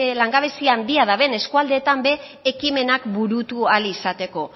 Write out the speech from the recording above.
langabezi handia duten eskualdeetan ere ekimenak burutu ahal izateko